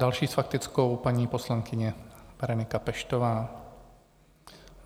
Další s faktickou paní poslankyně Berenika Peštová.